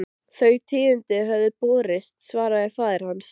Þau tíðindi höfðu borist, svaraði faðir hans.